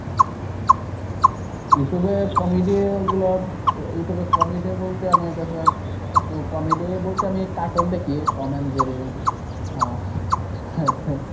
YouTube এ comedy গুলা YouTube এ comedy বলতে আমি দেখলাম ওতো comedy বলতে আমি cartoon দেখি Tom and Jerry ।